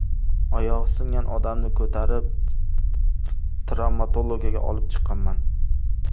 Oyog‘i singan odamni ko‘tarib, travmatologiyaga olib chiqqanman.